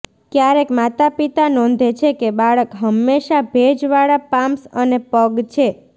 ક્યારેક માતાપિતા નોંધે છે કે બાળક હંમેશા ભેજવાળા પામ્સ અને પગ છે